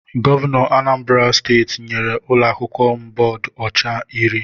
Gọvanọ Anambra steeti nyèrè ụlọakwụkwọ m bóódú ọcha iri.